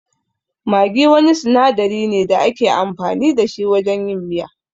Maggi wani sinadari ne da ake amfani da shi wajen yin miya.